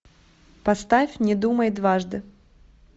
поставь не думай дважды